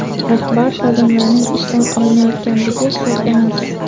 rahbar xodimlarning ishdan olinayotganligi sir emas.